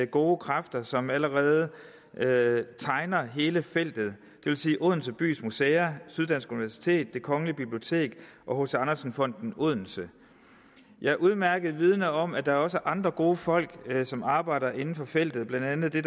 gode kræfter som allerede allerede tegner hele feltet det vil sige odense bys museer syddansk universitet det kongelige bibliotek og hc andersen fonden odense jeg er udmærket vidende om at der også er andre gode folk som arbejder inden for feltet blandt andet i